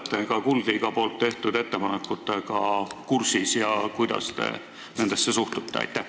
Kas te olete Kuldliiga tehtud ettepanekutega kursis ja kui olete, siis kuidas te nendesse suhtute?